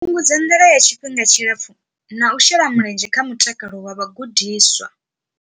Fhungudza nḓala ya tshifhinga tshipfufhi na u shela mulenzhe kha mutakalo wa vhagudiswa.